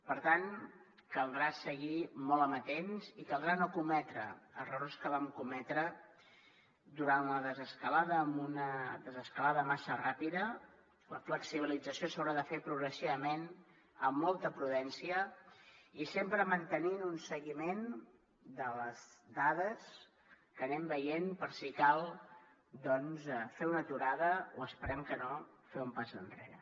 per tant caldrà seguir molt amatents i caldrà no cometre errors que vam cometre durant la desescalada amb una desescalada massa ràpida la flexibilització s’haurà de fer progressivament amb molta prudència i sempre mantenint un seguiment de les dades que anem veient per si cal doncs fer una aturada o esperem que no fer un pas enrere